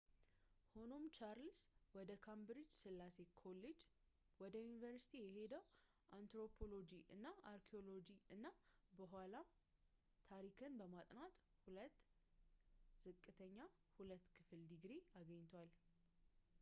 ሆኖም ቻርልስ ወደ ካምብሪጅ ሥላሴ ኮሌጅ ወደ ዩኒቨርስቲ የሄደው አንትሮፖሎጂ እና አርኪኦሎጂ እና በኋላም ታሪክን በማጥናት 2፡2 ዝቅተኛ ሁለተኛ ክፍል ድግሪ አግኝቷል